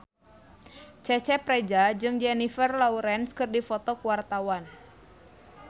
Cecep Reza jeung Jennifer Lawrence keur dipoto ku wartawan